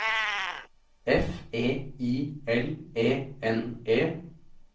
F E I L E N E